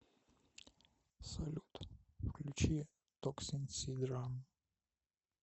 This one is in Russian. салют включи токсин сид рам